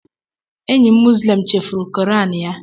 Enyi m Muslim chefuru quran ya.